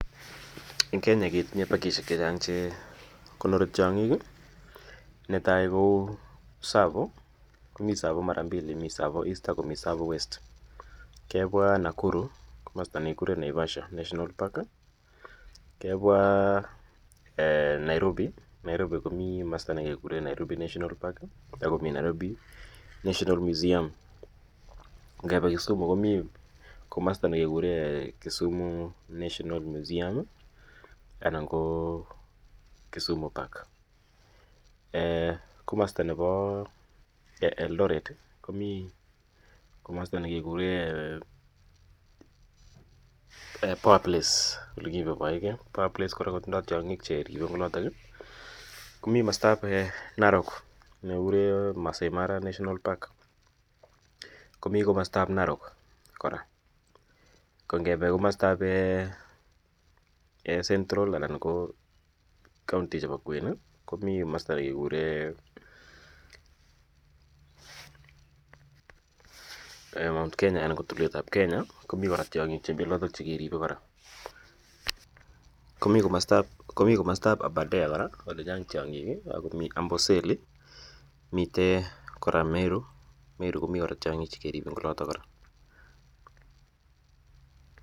En Kenya ketinye pakishek che chang' che konori tiang'ik. Ne tai ko Tsavo, komi Tsavo konyil aeng' mi Tsavo East ak Tsavo West. Kepwaa Nakuru komasta ne kikure Naivasha National Park. Kepwa Nairobi, Nairobi komi komasta ne kekure Nairobi National Park ako mi Nairobi National Museaum. Ngepa Kisumu komi komasta ne kekure Kisumu National Museum anan ko Kisumu Park. Komasta nepo Eldoret, komi komasta ne ke kure Poa Place, ole kipaipaite ge. Poa Place kotindai tiang'ik che ripei en olotok i. Komi komastap Narok ne kekure Maasai Mara National Park komi komastap Narok kora. Ko ngepe komastap Central anan ko kauntishek chepo kwen komi komasta ne kekure Mt.Kenya anan ko tulwetap Kenya, komi kora tiang'iik chemi olotok che keripe kora. Komi komasta ap Abadare kora ole chang' tiang'ik, ako mi Amboseli. Miten kora Meru, Meru komiten tiang'ik che keripen kora.